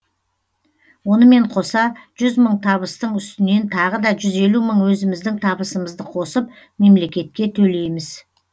онымен қоса жүз мың табыстың үстінен тағы да жүз елу мың өзіміздің табысымызды қосып мемлекетке төлейміз